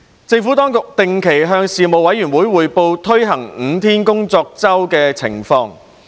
政府當局定期向事務委員會匯報推行5天工作周的情況。